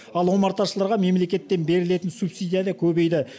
ал омарташыларға мемлекеттен берілетін субсидия да көбейді